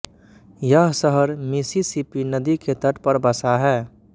यह शहर मिसिसिपी नदी के तट पर बसा है